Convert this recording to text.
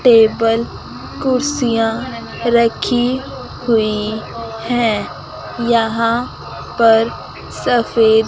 table कुर्सियां रखी हुई है यहां पर सफेद--